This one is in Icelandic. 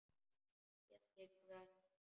Síðan gengum við af stað.